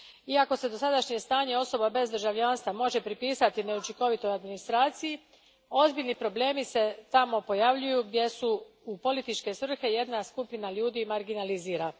Iako se dosadašnje stanje osoba bez državljanstva može pripisati neučinkovitoj administraciji, ozbiljni problemi pojavljuju se tamo gdje se u političke svrhe jedna skupina ljudi marginalizira.